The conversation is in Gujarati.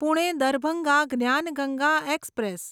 પુણે દરભંગા જ્ઞાન ગંગા એક્સપ્રેસ